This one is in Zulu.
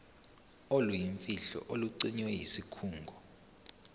oluyimfihlo olugcinwe yisikhungo